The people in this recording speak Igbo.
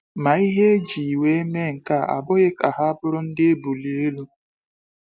Ma ihe eji wee mee nkea abụghị ka ha bụrụ ndị ebulu elu.